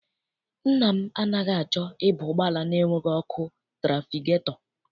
Nna m anaghị achọ ịba ụgbọala enweghị ọkụ trafigetọ.